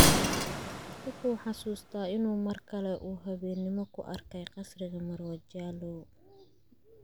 Wuxuu xusuustaa inuu mar kale oo habeennimo ku arkay qasriga Marwo Jallow.